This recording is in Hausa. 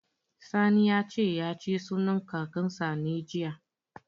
Sani ya ce, ya ci sunan Kakansa ne, jiya.